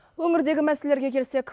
өңірдегі мәселелерге келсек